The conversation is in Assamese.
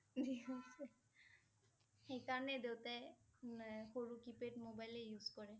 দি গৈছে, সেইকাৰণে দেউতাই ম~সৰু keypad mobile এ use কৰে